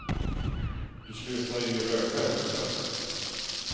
Du slutade ju röka i höstas.